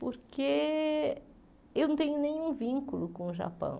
Porque eu não tenho nenhum vínculo com o Japão.